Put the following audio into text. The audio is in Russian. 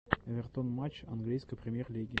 эвертон матч английской премьер лиги